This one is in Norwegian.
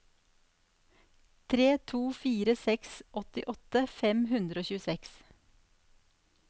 tre to fire seks åttiåtte fem hundre og tjueseks